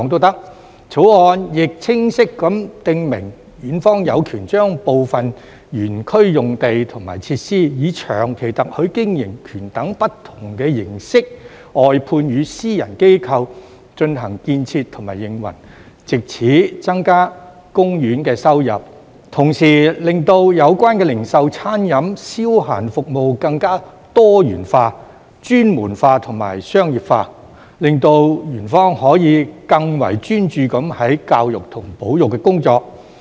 《條例草案》亦清晰地訂明，園方有權將部分園區用地及設施以長期特許經營權等不同形式外判予私人機構進行建設和營運，藉此增加公園收入，同時令有關的零售、餐飲及消閒服務更多元化、專門化和商業化，令園方可以更專注於教育和保育的工作。